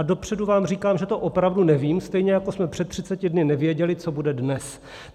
A dopředu vám říkám, že to opravdu nevím, stejně jako jsme před 30 dny nevěděli, co bude dnes.